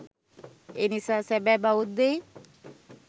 එනිසා සැබෑ බෞද්ධයින්